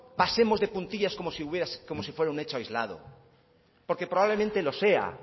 pasemos de puntillas como si fuera un hecho aislado porque probablemente lo sea